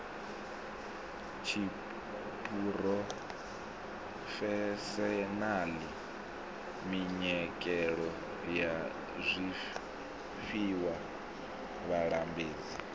tshiphurofeshenaḽa minyikelo ya zwifhiwa vhalambedzi